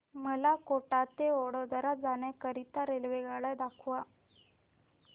मला कोटा ते वडोदरा जाण्या करीता रेल्वेगाड्या दाखवा